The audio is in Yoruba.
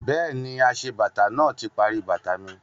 Bẹ́ẹ̀ni, aṣebàtà náà ti parí bàtà mi